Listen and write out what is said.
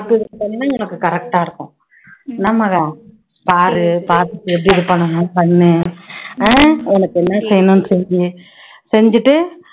பாத்து இது பண்ணியன்னா நமக்கு correct ஆ இருக்கும் பாரு பாத்துட்டு எப்படி இது பண்ணணும்னு பண்ணு ஹம் உனக்கு என்ன செய்யணும் செய் செஞ்சுட்டு